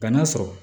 Bana sɔrɔ